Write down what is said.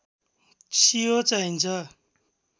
सियो चाहिन्छ